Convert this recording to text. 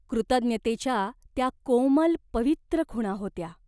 कृतज्ञतेच्या त्या कोमल पवित्र खुणा होत्या.